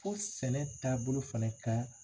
Ko sɛnɛ taabolo fɛnɛ ka